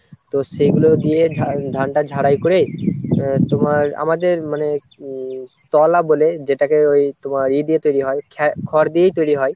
সেগুলো দিয়ে ধানটা ঝাড়াই করে আহ তোমার আমাদের উম মানে তওলা বলে যেটাকে ওই তোমার ইয়ে দিয়ে তৈরি হয় খড় দিয়েই তৈরি হয়।